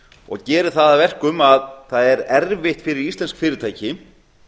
og gerir það að verkum að það er erfitt fyrir íslensk fyrirtæki